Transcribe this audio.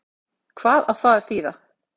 Hvað á það að þýða?